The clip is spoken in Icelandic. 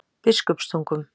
Biskupstungum